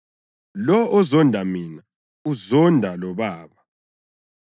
Lowo ozonda mina uzonda loBaba.